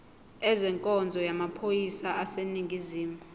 ezenkonzo yamaphoyisa aseningizimu